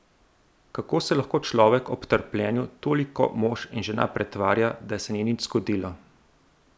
Kako se lahko človek ob trpljenju toliko mož in žena pretvarja, da se ni nič zgodilo?